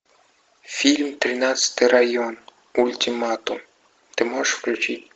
фильм тринадцатый район ультиматум ты можешь включить